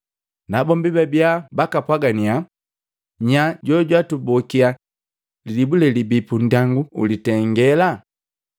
Nabombi babia bakapwagannya, “Nya jojukutubokia lilibu lelibii pundyangu ulitengela?”